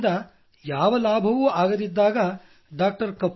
ಅದರಿಂದ ಯಾವ ಲಾಭವಾಗದಿದ್ದಾಗ ಡಾ